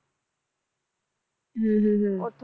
ਅਹ ਉਥੋਂ